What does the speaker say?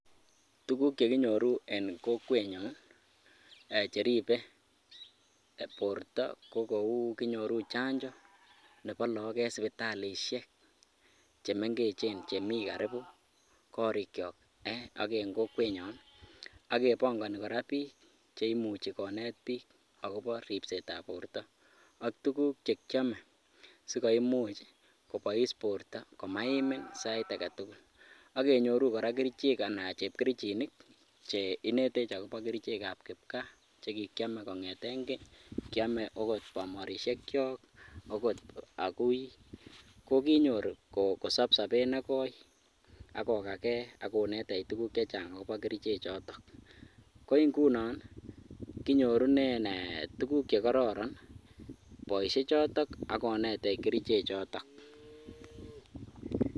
Tukuk chekinyoru en kokwenyon cheribe borto ko kouu kinyoru chanjo nebo look en sipitalishek chemeng'echen chemii karibu korikyok ak en kokwenyon ak kebong'oni kora biik cheimuchi konet book akobo ribsetab borto ak tukuk chekiome sikomuch kobois borto komaimin sait aketukul, ak kenyoru kora kerichek anan chepkerichinik che inetech akobo kerichekab kipkaa chekikiome kong'eten keny, kiome ak kot bomorishekyok akot akuii, kokinyor kosop sobet nekoi ak kokakee ak konetech tukuk chechang akobo kerichechoton, ko ing'unon kinyorunen tukuk chekororon boishechotok ak konetech keriche choton.